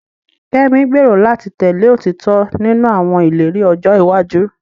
Kemi gbèrò láti tẹ̀lé òtítọ́ nínú àwọn ìlérí ọjọ́ iwájú rẹ̀.